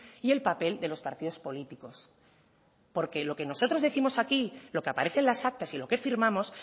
y el papel de los partidos políticos porque lo que nosotros décimos aquí lo que aparece en las actas y lo que firmamos